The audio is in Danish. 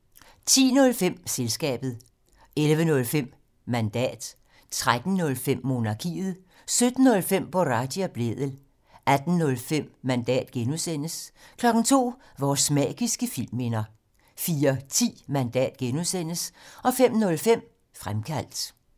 10:05: Selskabet 11:05: Mandat 13:05: Monarkiet 17:05: Boraghi og Blædel 18:05: Mandat (G) 02:00: Vores magiske filmminder 04:10: Mandat (G) 05:05: Fremkaldt